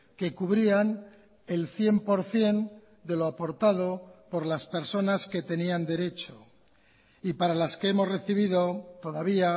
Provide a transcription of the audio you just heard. que cubrían el cien por ciento de lo aportado por las personas que tenían derecho y para las que hemos recibido todavía